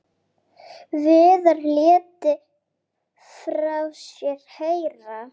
Viðar léti frá sér heyra.